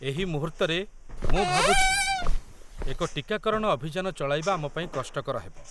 ଏହି ମୁହୂର୍ତ୍ତରେ, ମୁଁ ଭାବୁଛି, ଏକ ଟିକାକରଣ ଅଭିଯାନ ଚଳାଇବା ଆମ ପାଇଁ କଷ୍ଟକର ହେବ।